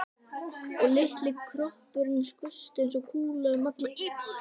Og litli kroppurinn skaust eins og kúla um alla íbúðina.